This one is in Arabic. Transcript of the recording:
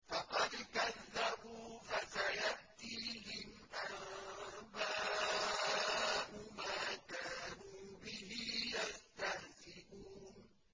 فَقَدْ كَذَّبُوا فَسَيَأْتِيهِمْ أَنبَاءُ مَا كَانُوا بِهِ يَسْتَهْزِئُونَ